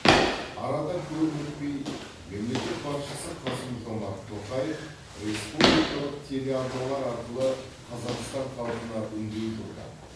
арада көп өтпей мемлекет басшысы қасым жомарт тоқаев республикалық телеарналар арқылы қазақстан халқына үндеу жолдап